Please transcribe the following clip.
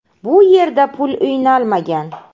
Bu yerda pul o‘ynalmagan.